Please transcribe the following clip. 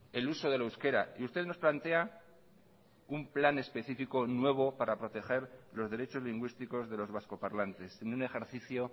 el uso del euskera y usted nos plantea un plan específico nuevo para proteger los derechos lingüísticos de los vascoparlantes en un ejercicio